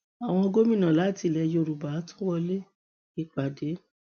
àwọn gómìnà láti ilẹ yorùbá tún wọlé ìpàdé